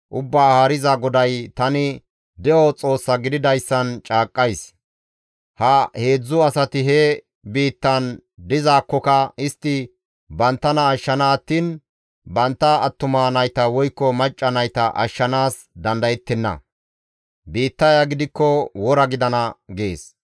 Ubbaa Haariza GODAY, ‹Tani de7o Xoossa gididayssan caaqqays; ha heedzdzu asati he biittan dizaakkoka istti banttana ashshana attiin bantta attuma nayta woykko macca nayta ashshanaas dandayettenna. Biittaya gidikko wora gidana› gees.